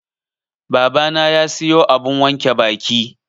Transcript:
Babana ya siyo abun wanke baki.